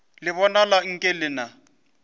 le bonala nke le na